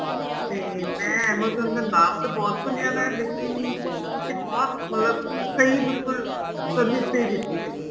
ਤੇ ਮੈਂ amazon ਦਾ ਨਾਮ ਤਾਂ ਬਹੁਤ ਸੁਣਿਆ ਮੈਂ ਲੇਕਿਨ ਤੁਸੀਂ ਬਹੁਤ ਮਤਲਬ ਸਹੀ ਬਿਲਕਲ service ਨਹੀਂ ਦਿੱਤੀ ਹੈਗੀ